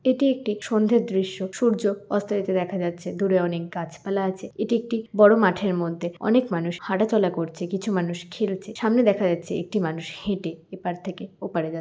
এটি একটি সন্ধ্যের দৃশ্য সূর্য অস্ত যেতে দেখা যাচ্ছে দূরে অনেক গাছপালা আছে। এটি একটি বড় মাঠের মধ্যে অনেক মানুষ হাঁটাচলা করছে কিছু মানুষ খেলছে সামনে দেখা যাচ্ছে একটি মানুষ হেঁটে এপার থেকে ওপারে যাচ --